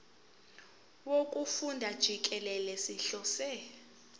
wokufunda jikelele sihlose